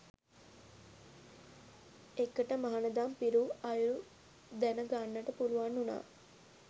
එකට මහණදම් පිරූ අයුරු දැනගන්නට පුළුවන් වුණා.